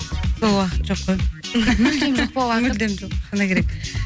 сол уақыт жоқ қой мүлдем жоқ па мүлдем жоқ шыны керек